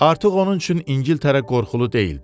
Artıq onun üçün İngiltərə qorxulu deyildi.